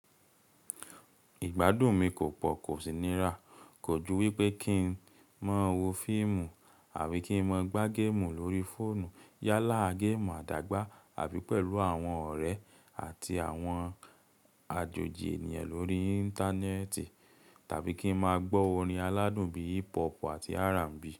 Ìgbádùn mi kò pọ̀, kò sì nira, kò jù wípé kí n máa wo fíìmù àbí kí n máa gbá géèmù lórí fóònù yálàa géèmù àdágbà àbí pẹ̀lú àwọn ọ̀rẹ́ àti àwọn àjòjì ènìyàn lórí Íńtánẹ́ẹ̀tì tàbí kí n máa gbọ́ orin aládùn bí i hip hop àti R&B.